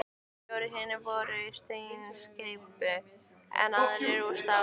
Fjórir hinna fyrri voru úr steinsteypu, en aðrir úr stáli.